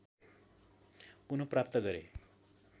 पुनःप्राप्त गरे